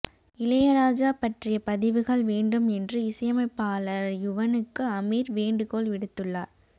இளையராஜா பற்றிய பதிவுகள் வேண்டும் என்று இசையமைப்பாளர் யுவனுக்கு அமீர் வேண்டுகோள் விடுத்துள்ளார்